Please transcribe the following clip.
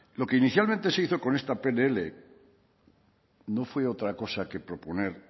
lo que inicialmente se hizo con este pnl no fue otra cosa que proponer